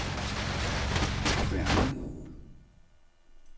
Kværnen